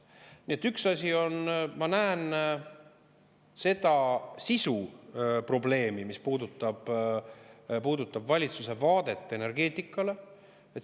Nii et üks asi on, et ma näen seda sisu probleemi, mis puudutab valitsuse vaadet energeetikale.